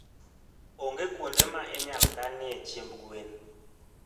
Onge kuonde ma inyalo kanoe chiemb gwen.